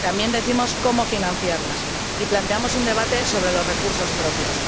También decimos cómo financiarlas y planteamos un debate sobre los recursos propios.